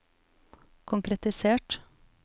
konkretisert